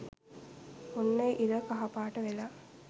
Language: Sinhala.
ඔන්න ඉර කහ පාට වෙලා